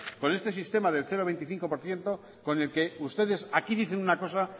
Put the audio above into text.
con este sistema del cero coma veinticinco por ciento con el que ustedes aquí dicen una cosa